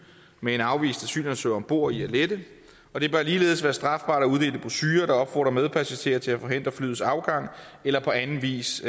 med en afvist asylansøger om bord i at lette og det bør ligeledes være strafbart at uddele brochurer der opfordrer medpassagerer til at forhindre flyets afgang eller på anden vis